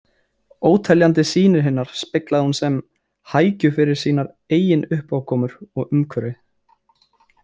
Óteljandi sýnir hinnar speglaði hún sem hækju fyrir sínar eigin uppákomur og umhverfi.